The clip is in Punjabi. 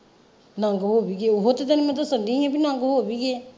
ਨੰਗ ਹੋ ਵੀ ਗਏ ਆ ਓਹੋ ਤੇ ਮੈਂ ਤੈਨੂੰ ਦੱਸਣ ਦਈ ਹਾਂ ਬੀ ਨੰਗ ਹੋ ਵੀ ਗਏ ਆ।